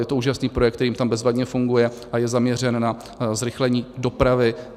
Je to úžasný projekt, který jim tam bezvadně funguje a je zaměřen na zrychlení dopravy.